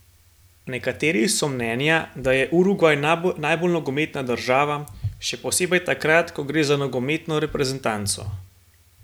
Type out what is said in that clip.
Nekateri so mnenja, da je Urugvaj najbolj nogometna država, še posebej takrat, ko gre za nogometno reprezentanco.